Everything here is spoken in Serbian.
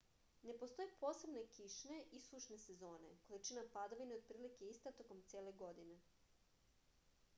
ne postoje posebne kišne i sušne sezone količina padavina je otprilike ista tokom cele godine